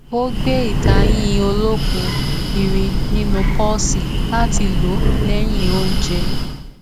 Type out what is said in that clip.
ó gbé ìtayín olókùn kiri nínú pọọsì láti lo lẹyìn ounjẹ